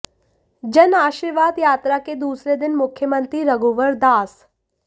जन आशीर्वाद यात्रा के दूसरे दिन मुख्यमंत्री रघुवर दास